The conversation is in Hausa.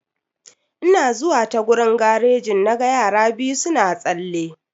Ina zuwa ta gurin garejin na ga yara biyu suna tsalle.